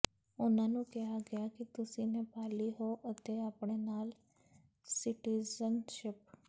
ਉਨ੍ਹਾਂ ਨੂੰ ਕਿਹਾ ਗਿਆ ਕਿ ਤੁਸੀਂ ਨੇਪਾਲੀ ਹੋ ਅਤੇ ਆਪਣੇ ਨਾਲ ਸਿਟੀਜ਼ਨਸ਼ਿਪ